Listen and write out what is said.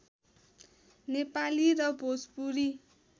नेपाली र भोजपुरी